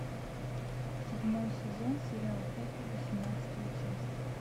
седьмой сезон сериал хэппи восемнадцатая часть